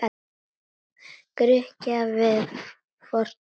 Grikkja við fortíð sína.